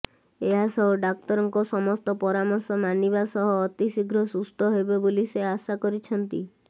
ଏହାସହ ଡାକ୍ତରଙ୍କ ସମସ୍ତ ପରାମର୍ଶ ମାନିବା ସହ ଅତିଶୀଘ୍ର ସୁସ୍ଥ ହେବେ ବୋଲି ସେ ଆଶା କରିଛନ୍ତି